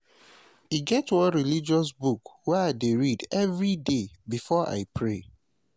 e get one religious book wey i dey read everyday before i pray.